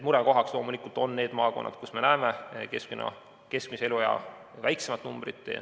Murekohaks on loomulikult need maakonnad, kus me näeme keskmise eluea väiksemat numbrit.